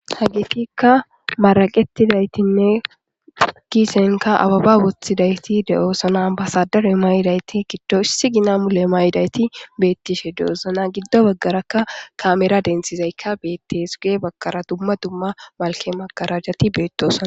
Hagetika maraqetidayitinne kisenikka abeba wwothidayirlti dosona abasadere mayidayiti issi gina mayidayiti betishe deosoona gido bagaraka kamera denithizayikka beteesi guye bagarakka magarajati betosona